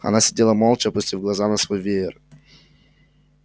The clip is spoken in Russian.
она сидела молча опустив глаза на свой веер